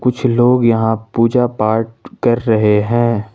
कुछ लोग यहां पूजा पाठ कर रहे हैं।